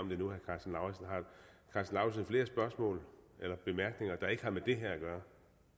af lauritzen flere spørgsmål eller bemærkninger der ikke har med det her at gøre